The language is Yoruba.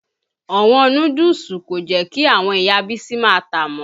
Ọ̀wọ́n núdúùsù kò jẹ́ kí àwọn Ìya Bísí ma tàá mọ́.